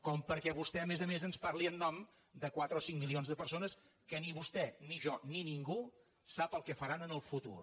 com perquè vostè a més a més ens parli en nom de quatre o cinc milions de persones que ni vostè ni jo ni ningú sap el que faran en el futur